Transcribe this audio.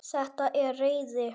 Þetta er reiði.